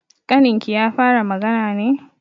Ƙaninki ya fara magana ne?